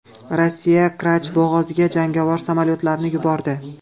Rossiya Kerch bo‘g‘oziga jangovar samolyotlarini yubordi.